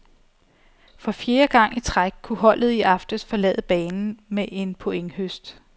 For fjerde gang i træk kunne holdet i aftes forlade banen med en pointhøst.